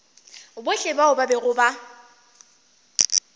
bohle bao ba bego ba